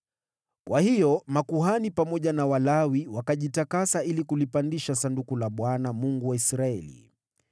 Kwa hiyo makuhani pamoja na Walawi wakajitakasa ili kulipandisha Sanduku la Bwana , Mungu wa Israeli.